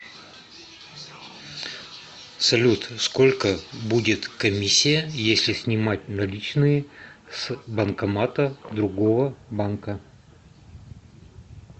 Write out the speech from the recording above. салют сколько будет комиссия если снимать наличные с банкомата другого банка